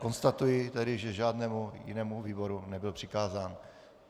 Konstatuji tedy, že žádnému jinému výboru nebyl přikázán.